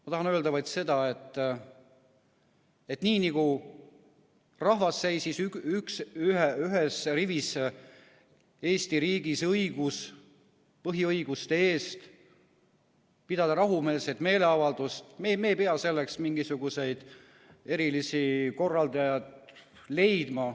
Ma tahan öelda vaid seda, et nii nagu rahvas seisis ühes rivis Eesti riigis põhiõiguste eest pidada rahumeelset meeleavaldust, me ei pea selleks mingisuguseid erilisi korraldajaid leidma.